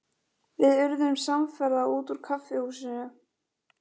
Við urðum samferða út úr kaffihúsinu.